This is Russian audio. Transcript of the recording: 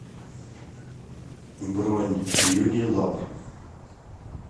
бронь юнилаб